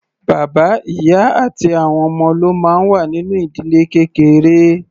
Bàbá, ìyá àti àwọn ọmọ ló máa ń wà nínú ìdílé kékeré.